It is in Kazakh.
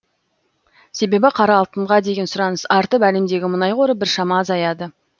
себебі қара алтынға деген сұраныс артып әлемдегі мұнай қоры біршама азаяды